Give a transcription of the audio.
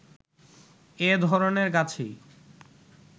এ ধরনের গাছেই